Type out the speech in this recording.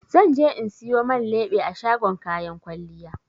Zan je in siyo man leɓe a shagon kayan kwalliya.